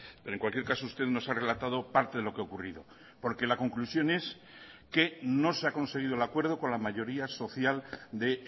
pero en cualquier caso usted nos ha relatado parte de lo que ha ocurrido porque la conclusión es que no se ha conseguido el acuerdo con la mayoría social de